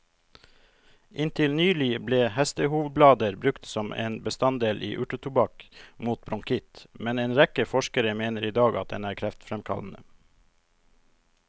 Inntil nylig ble hestehovblader brukt som en bestanddel i urtetobakk mot bronkitt, men en rekke forskere mener i dag at den er kreftfremkallende.